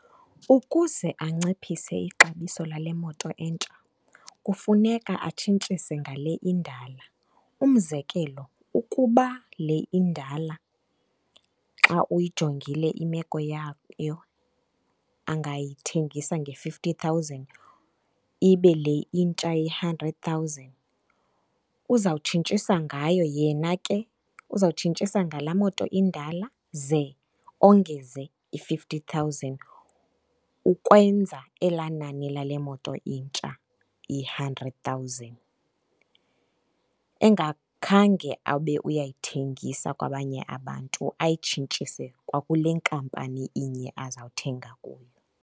Ukuze anciphise ixabiso lale moto entsha kufuneka atshintshise ngale indala. Umzekelo, ukuba le indala xa uyijongile imeko yayo angayithengisa nge-fifty thousand, ibe le intsha iyi-hundred thousand, uzawutshintshisa ngayo. Yena ke uzawutshintshisa ngalaa moto indala ze ongeze i-fifty thousand ukwenza elaa nani lale moto intsha iyi-hundred thousand. Engakhange abe uyayithengisa kwabanye abantu, ayitshintshise kwakule nkampani inye azawuthenga kuyo.